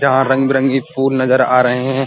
जहाँ रंग-बिरंगी फूल नज़र आ रहे हैं।